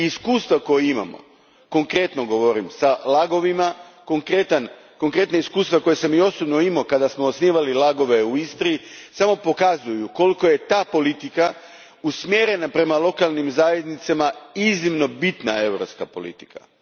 Iskustva koja imamo, konkretno govorim s LAG ovima, konkretna iskustva koja sam i osobno imao kada smo osnivali LAG ove u Istri, samo pokazuju koliko je ta politika usmjerena prema lokalnim zajednicama iznimno bitna europska politika.